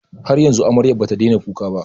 Har yanzu amaryar ba ta daina kuka ba?